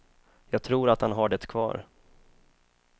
Jag tror att han har det kvar.